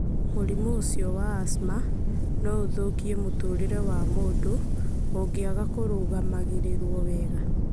Mũrimũ ũcio wa asthma no ũthũkie mũtũũrĩre wa mũndũ ũngĩaga kũrũgamagĩrĩrũo wega.